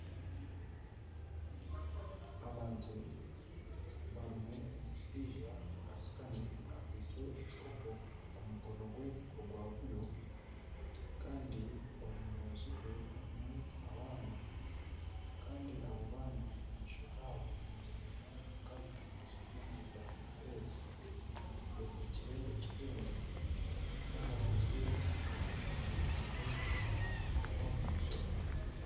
Abantu barimu omushaija ashutami akwaitse ekikopo omu mukono gwe ogwa buryo kandi omu rubaju rwe harimu abaana kandi abo baana omu maisho gaabo hamereiremu omukazi ajwaire emyenda erikwera ayezirikire ekitengye kandi akwaitse efuuka omu mukono gwe ogwa bumosho.